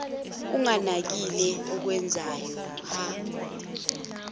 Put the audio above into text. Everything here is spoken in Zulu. unganakile okwenzayo hha